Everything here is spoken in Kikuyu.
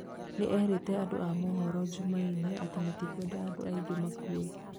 Nĩerĩte andũ a mũhoro njumaine atĩ matikwenda andũ angĩ makuĩ